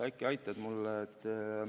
Äkki sa aitad mind?